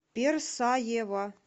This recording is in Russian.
персаева